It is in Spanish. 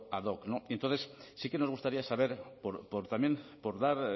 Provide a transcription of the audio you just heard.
ad hoc no y entonces sí que nos gustaría saber también por dar